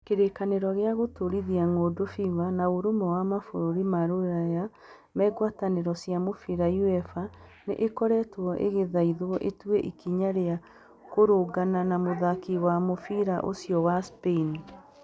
Kĩrĩkanĩro gĩa Gũtũũrithia Ng'ũndũ (FIFA) na Ũrũmwe wa mabũrũri ma Rũraya ma Ngwatanĩro cia mũbira (UEFA) nĩ ikoretwo igĩthaithwo itue ikinya rĩa kũrũngana na mũthaki wa mũbira ũcio wa Spain.